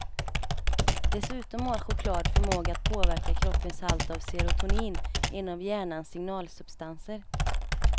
Dessutom har choklad förmåga att påverka kroppens halt av serotonin, en av hjärnans signalsubstanser.